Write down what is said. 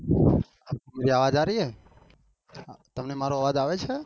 મેરી અવાજ આર રહી હૈ, તમને મારો અવાજ આવે છે?